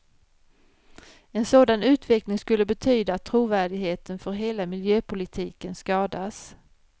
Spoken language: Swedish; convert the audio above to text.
En sådan utveckling skulle betyda att trovärdigheten för hela miljöpolitiken skadas.